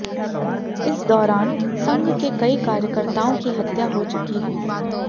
इस दौरान संघ के कई कार्यकर्ताओं की हत्या हो चुकी है